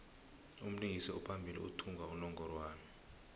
umlingisi ophambili uthumba unongorwand